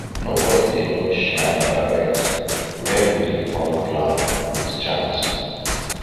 nobody dey look shrine direct when we dey call cloud with chant